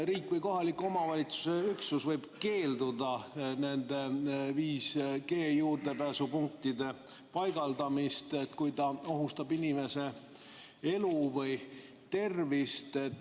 Riik või kohaliku omavalitsuse üksus võib keelduda 5G juurdepääsupunktide paigaldamisest, kui need ohustavad inimese elu või tervist.